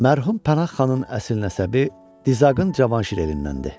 Mərhum Pənah xanın əsl nəsəbi Dizaqın Cavanşir elindəndir.